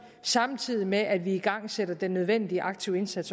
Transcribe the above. samtidig med at vi igangsætter den nødvendige aktive indsats